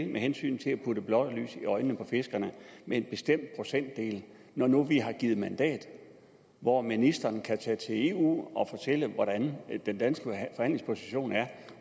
med hensyn til at putte blår i øjnene på fiskerne med en bestemt procentdel når nu vi har givet et mandat hvor ministeren kan tage til eu og fortælle hvordan den danske forhandlingsposition er